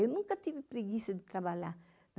Eu nunca tive preguiça de trabalhar.